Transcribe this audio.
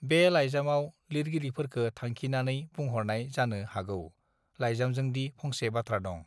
बे लाइजामआव लिरगिरिफोरखो थांखिनाने बुंहरनाय जानो हागौ लाइजामजोंदी फंसे बाथ्रा दं